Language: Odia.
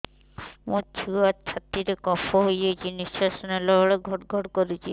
ମୋ ଛୁଆ ଛାତି ରେ କଫ ହୋଇଛି ନିଶ୍ୱାସ ନେଲା ବେଳେ ଘଡ ଘଡ କରୁଛି